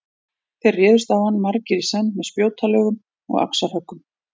Þeir réðust á hann margir í senn með spjótalögum og axarhöggum.